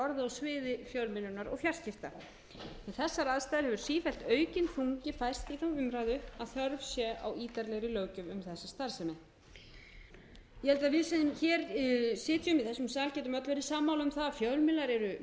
sviði fjölmiðlunar og fjarskipta við þessar aðstæður hefur sífellt aukinn þungi færst í þá umræðu að þörf sé á ítarlegri löggjöf um þessa starfsemi ég held að við sem sitjum í þessum sal getum öll verið sammála um það að fjölmiðil eru